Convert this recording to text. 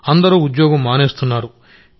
అందరూ ఉద్యోగం మానేస్తున్నారు